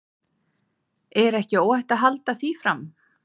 Er ekki óhætt að halda því fram?